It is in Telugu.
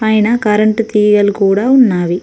పైనా కరెంటు తీగలు కూడా ఉన్నావి.